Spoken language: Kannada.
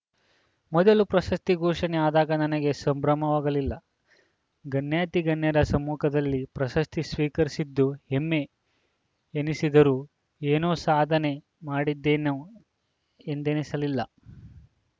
ಮೊದಲು ಪ್ರಶಸ್ತಿ ಘೋಷಣೆ ಆದಾಗ ನನಗೆ ಸಂಭ್ರಮವಾಗಲಿಲ್ಲ ಗಣ್ಯಾತಿಗಣ್ಯರ ಸಮ್ಮುಖದಲ್ಲಿ ಪ್ರಶಸ್ತಿ ಸ್ವೀಕರಿಸಿದ್ದು ಹೆಮ್ಮೆ ಎನಿಸಿದರೂ ಎನೋ ಸಾಧನೆ ಮಾಡಿದ್ದೇನೊ ಎಂದನಿಸಲಿಲ್ಲ